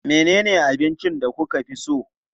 Menene abincin da kuka fi so?